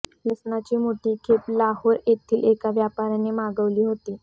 लसणाची मोठी खेप लाहोर येथील एका व्यापाऱ्याने मागवली होती